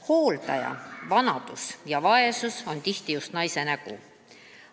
Hooldamine, vanadus ja vaesus on tihti just naise nägu.